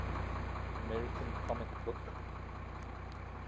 american comic book